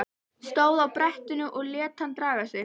Stóð á brettinu og lét hann draga sig.